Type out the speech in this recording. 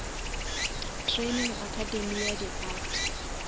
training academy ya di art